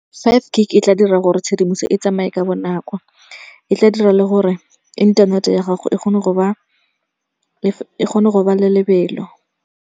Five gig e tla dira gore tshedimoso e tsamaye ka bonako. E tla dira le gore inthanete ya gago e kgone go ba le lebelo.